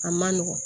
A man nɔgɔn